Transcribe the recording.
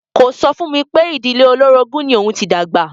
Kò sọ fún mi pé ìdílé olórogún ni òun ti dàgbà.